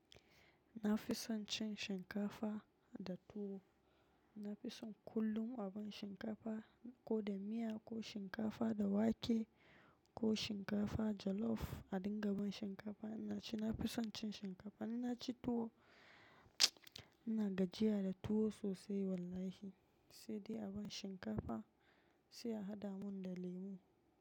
Na fi son cin shinkafa da tuwo. Na fi son kullum aban shinkafa ko da miya ko shinkafa da wake ko shinkafa jollof. A dinga ban shinkafa ina ci. Na fi son cin shinkafa. Inna ci tuwo. Ina gajiya da tuwo sosai wallahi sai dai aban shinkafa sai ahada min da lemu.